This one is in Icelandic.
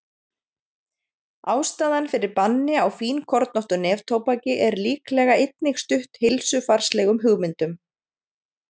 Ástæðan fyrir banni á fínkornóttu neftóbaki er líklega einnig stutt heilsufarslegum hugmyndum.